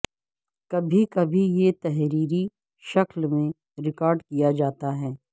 کبھی کبھی یہ تحریری شکل میں ریکارڈ کیا جاتا ہے